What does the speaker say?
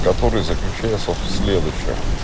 который заключается в следующем